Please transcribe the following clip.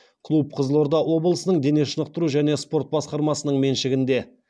клуб қызылорда облысының дене шынықтыру және спорт басқармасының меншігінде